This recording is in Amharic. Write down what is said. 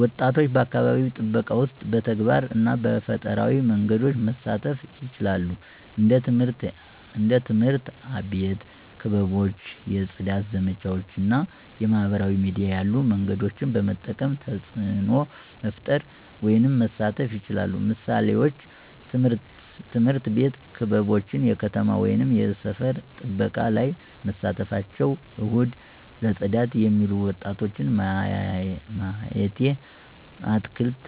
ወጣቶች በአካባቢ ጥበቃ ውስጥ በተግባር እና በፈጠራዊ መንገዶች መሳተፉ ይችላሉ። እንደ ትምህርት አቤት ክበቦች የፅዳት ዘመቻዎች እና የማህበራዊ ሚዲያ ያሉ መንገዶችን በመጠቀም ተፅዕኖ መፈጠር ወይም መሳተፍ ይችላሉ። ምሳሌዎች፦ ትምህርት ቤት ክበቦች የከተማ ወይም የሰፈር ጥበቃ ላይ መሳተፍቸው፣ እሁድ ለጽዳት የሚሉ ወጣቶች ማየቲ፣ አትክልት